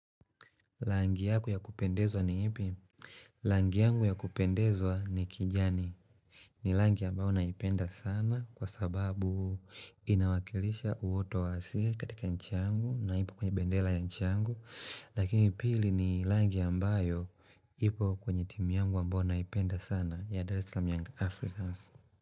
Langi yaku ya kupendezwa ni ipi? Langi yangu ya kupendezwa ni kijani. Ni langi ambayo naipenda sana kwa sababu inawakilisha uoto wa asia katika nchi angu na ipo kwenye bendela ya nchiangu. Lakini pili ni langi ambayo ipo kwenye timi yangu ambayo naipenda sana ya Daratislam Young Africans.